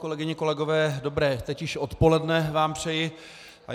Kolegyně, kolegové, dobré teď již odpoledne vám přeji.